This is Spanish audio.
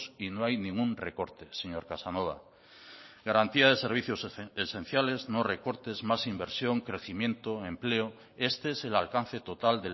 y no hay ningún recorte señor casanova garantía de servicios esenciales no recortes más inversión crecimiento empleo este es el alcance total